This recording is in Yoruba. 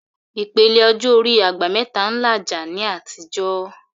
Ìpele ọjọ́ orí "àgbà mẹ́ta" ń làjà ní àtijọ́